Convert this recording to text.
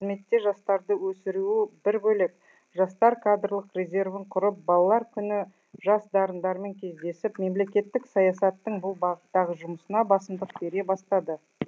қызметте жастарды өсіруі бір бөлек жастар кадрлық резервін құрып балалар күні жас дарындармен кездесіп мемлекеттік саясаттың бұл бағыттағы жұмысына басымдық бере бастады